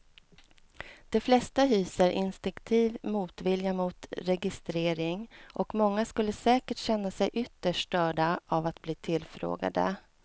De flesta hyser instinktiv motvilja mot registrering och många skulle säkert känna sig ytterst störda av att bli tillfrågade.